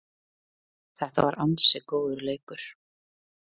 Þetta var ansi góður leikur